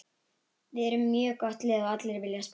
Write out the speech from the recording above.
Við erum með mjög gott lið og allir vilja spila.